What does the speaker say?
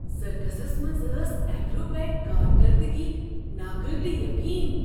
سرکسس منٛز ٲس ایکروبیٹ کارکردگی ناقابل یقین ۔